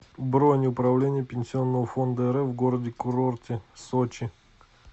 бронь управление пенсионного фонда рф в городе курорте сочи